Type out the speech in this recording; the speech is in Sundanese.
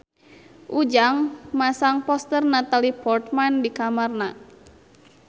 Ujang masang poster Natalie Portman di kamarna